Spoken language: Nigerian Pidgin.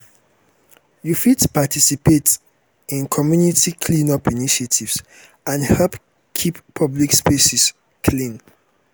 you fit participate fit participate in community clean-up initiatives and help keep public spaces clean.